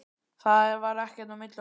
Það var ekkert á milli okkar.